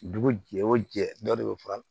Dugu jɛ o jɛ dɔ de bɛ fara